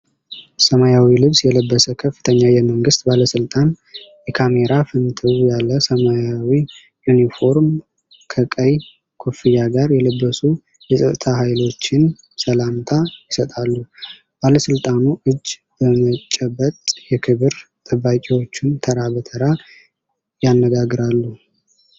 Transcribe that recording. ሰማያዊ ልብስ የለበሰ ከፍተኛ የመንግሥት ባለሥልጣን የካሜራ ፍንትው ያለ ሰማያዊ ዩኒፎርም ከቀይ ኮፍያ ጋር የለበሱ የፀጥታ ኃይሎችን ሰላምታ ይሰጣል። ባለስልጣኑ እጅ በመጨበጥ የክብር ጠባቂዎቹን ተራ በተራ ያነጋግራሉ።